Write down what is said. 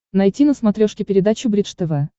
найти на смотрешке передачу бридж тв